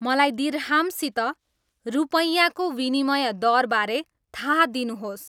मलाई दिर्हामसित रुपैयाको विनिमय दरबारे थाहा दिनुहोस्